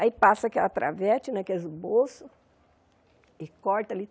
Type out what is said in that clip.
Aí passa aquela travete, né que é o esboço, e corta ali.